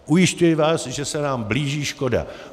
Ujišťuji vás, že se nám blíží škoda.